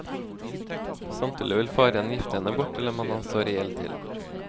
Samtidig vil faren gifte henne bort til en mann han står i gjeld til.